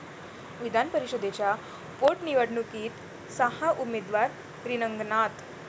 विधानपरिषदेच्या पोटनिवडणुकीत सहा उमेदवार रिंगणात